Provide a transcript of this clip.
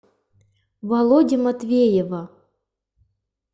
володи матвеева